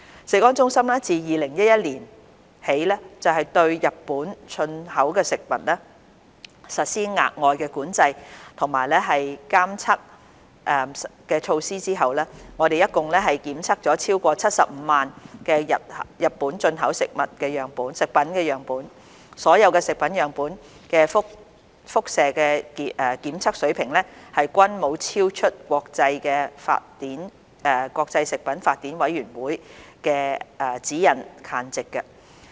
食安中心自2011年起對日本進口食品實施額外管制及監測措施後，共檢測了超過75萬個日本進口食品樣本，所有食物樣本的輻射檢測水平均沒有超出國際食品法典委員會的指引限值。